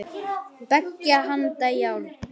Beggja handa járn.